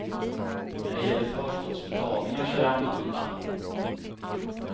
När det gäller förskottsbetalningar så är det annorlunda.